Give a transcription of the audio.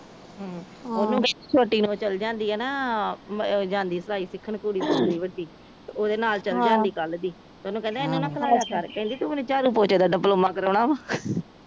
ਛੋਟੀ ਨੂੰਹ ਚਲ ਜਾਂਦੀ ਆ ਨਾ ਉਹ ਜਾਂਦੀ ਸਲਾਈ ਸਿੱਖਣ ਕੁੜੀ ਜਾਂਦੀ ਵੱਡੀ ਓਹਦੇ ਨਾਲ ਚਲ ਜਾਂਦੀ ਕੱਲ ਦੀ ਤੇ ਓਹਨੂੰ ਕਹਿੰਦਾ ਇਹਨੂੰ ਨਾ ਖਲਾਯਾ ਕਰ ਕਹਿੰਦੀ ਤੂੰ ਮੈਨੂੰ ਚਾਡੂ ਪੋਚੇ ਦਾ ਦੀਡਿਪਲੋਮਾ ਕਰਵੋਣਾ ਵਾ